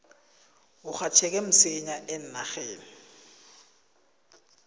urhatjheke msinya eenarheni